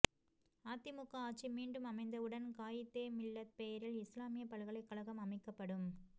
அதிமுக ஆட்சி மீண்டும் அமைந்தவுடன் காயிதே மில்லத் பெயரில் இஸ்லாமிய பல்கலைக்கழகம் அமைக்கப்படும்